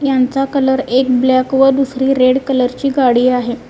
यांचा कलर एक ब्लॅक व दुसरी रेड कलर ची गाडी आहे.